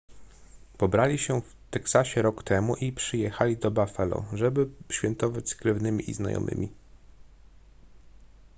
pobrali się w teksasie rok temu i przyjechali do buffalo żeby świętować z krewnymi i znajomymi